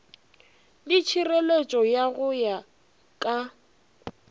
le tšhireletšo go ya ka